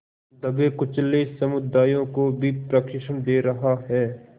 दबेकुचले समुदायों को भी प्रशिक्षण दे रहा है